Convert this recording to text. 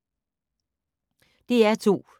DR2